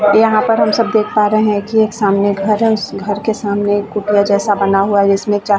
यहाँ पर हम सब देख पा रहे है की एक सामने घर है उस घर के सामने एक कुटिया जैसा बना हुआ जिस में चार--